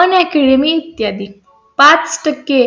अनेक ली मी इत्यादी पाच टक्के